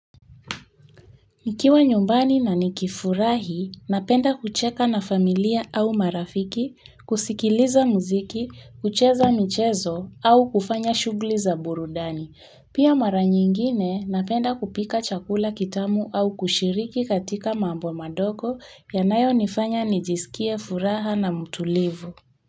Nikiwa nyumbani na nikifurahi, napenda kucheka na familia au marafiki, kusikiliza muziki, kucheza michezo au kufanya shughuli za burudani. Pia mara nyingine napenda kupika chakula kitamu au kushiriki katika mambo madogo yanayonifanya nijisikie furaha na mtulivu.